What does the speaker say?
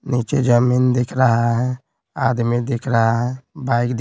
नीचे जमीन दिख रहा है आदमी दिख रहा है बाइक --